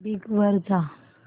Bing वर जा